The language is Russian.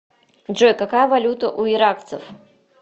джой какая валюта у иракцев